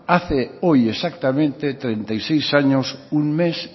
hace hoy exactamente treinta y seis años un mes